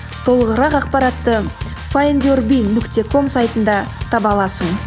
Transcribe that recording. толығырақ ақпаратты файндюрби нүкте ком сайтында таба аласың